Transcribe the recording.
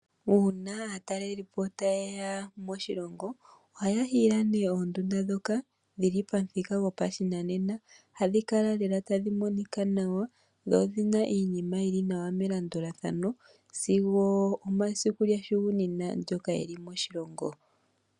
Uuna aataleli po ta ye ya moshilongo ohaya hiile nee oondunda ndhoka dhili pamuthika gopashinanena, hadhi kala lela tadhi monika nawa, dho odhi na iinima yili nawa melandulathano sigo omasiku ga hugunina ngoka eli moshilongo.